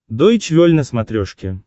дойч вель на смотрешке